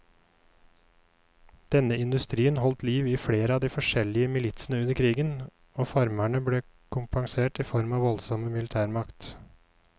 Denne industrien holdt liv i flere av de forskjellige militsene under krigen, og farmerne ble kompensert i form av voldsom militærmakt.